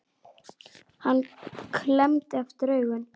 Hann klemmdi aftur augun